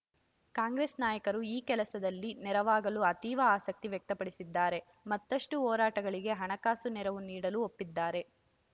ಕಾಂಗ್ರೆಸ್‌ ನಾಯಕರು ಈ ಕೆಲಸದಲ್ಲಿ ನೆರವಾಗಲು ಅತೀವ ಆಸಕ್ತಿ ವ್ಯಕ್ತಪಡಿಸಿದ್ದಾರೆ ಮತ್ತಷ್ಟುಹೋರಾಟಗಳಿಗೆ ಹಣಕಾಸು ನೆರವು ನೀಡಲೂ ಒಪ್ಪಿದ್ದಾರೆ